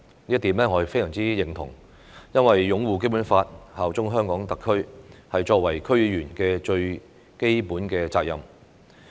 我非常認同這點，因為擁護《基本法》、效忠香港特區是作為區議員的最基本責任。